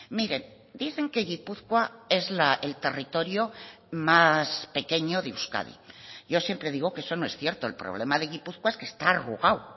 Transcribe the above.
miren dicen que gipuzkoa es el territorio más pequeño de euskadi yo siempre digo que eso no es cierto el problema de gipuzkoa es que está arrugado